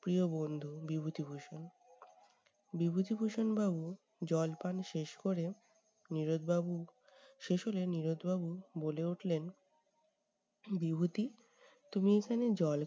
প্রিয় বন্ধু বিভূতিভূষণ। বিভূতিভূষণ বাবু জল পান শেষ করে নীরদ বাবু শেষ হলে নীরদ বাবু বলে উঠলেন বিভূতি তুমি এখানে জল